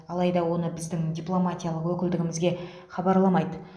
алайда оны біздің дипломатиялық өкілдігімізге хабарламайды